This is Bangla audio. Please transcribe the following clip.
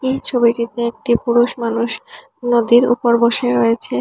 এই ছবিটিতে একটি পুরুষ মানুষ নদীর ওপর বসে রয়েছে।